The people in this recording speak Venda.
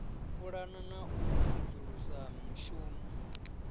pulana na u sedzulusa mushumo